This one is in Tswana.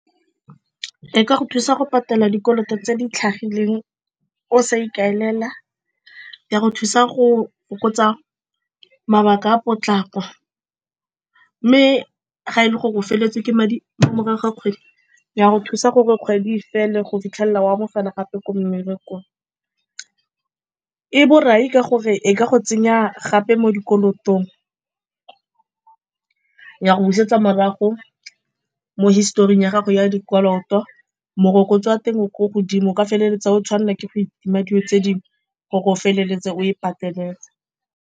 E ka go thusa go patela dikoloto tse di tlhagileng o sa ikaelela, ya go thusa go fokotsa mabaka a potlaka. Mme ga e le gore o feleletswe ke madi mo morago ga kgwedi ya go thusa gore kgwedi e fele go fitlhelela o amogela gape ko mmerekong. E borai ka gore e ka go tsenya gape mo dikolotong, ya go busetsa morago mo historing ya gago ya dikoloto. Morokotso wa teng o ko godimo o ka feleletsa o tshwanela ke go itima dilo tse dingwe gore o feleletse o e pateletse.